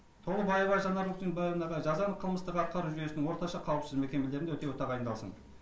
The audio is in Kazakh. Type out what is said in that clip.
толыбаева жанар өркембаевнаға жазаны қылмыстық атқару жүйесінің орташа қауіпсіздік мекемелерінде өтеуі тағайындалсын